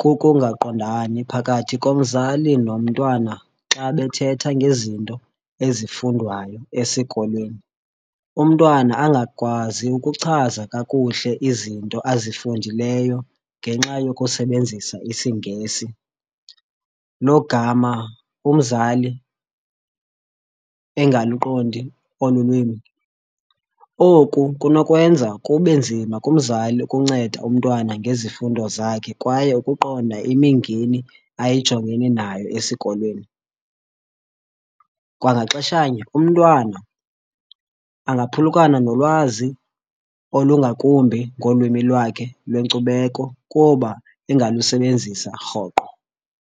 kukungaqondani phakathi komzali nomntwana xa bethetha ngezinto ezifundwayo esikolweni, umntwana angakwazi ukuchaza kakuhle izinto azifundileyo ngenxa yokusebenzisa isiNgesi, logama umzali engaluqondi olu lwimi. Oku kunokwenza kube nzima kumzali ukunceda umntwana ngezifundo zakhe kwaye ukuqonda imingeni ayijongene nayo esikolweni. Kwangaxeshanye umntwana angaphulukana nolwazi olungakumbi ngolwimi lwakhe lwenkcubeko kuba engalusebenzisa rhoqo.